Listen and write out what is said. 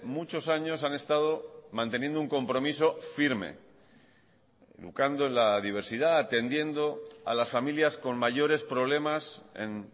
muchos años han estado manteniendo un compromiso firme educando en la diversidad atendiendo a las familias con mayores problemas en